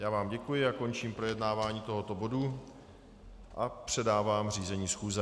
Já vám děkuji a končím projednávání tohoto bodu a předávám řízení schůze.